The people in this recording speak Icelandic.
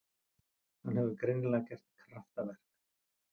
Hann hefur greinilega gert kraftaverk.